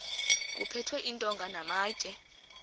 kuphethwe iintonga namatye